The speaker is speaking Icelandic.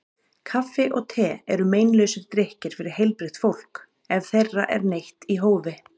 Kaffi og te eru meinlausir drykkir fyrir heilbrigt fólk ef þeirra er neytt í hófi.